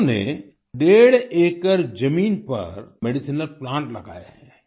उन्होंने डेढ़ एकड़ जमीन पर मेडिसिनल प्लांट लगाए हैं